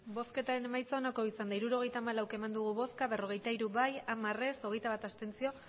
emandako botoak hirurogeita hamalau bai berrogeita hiru ez hamar abstentzioak hogeita bat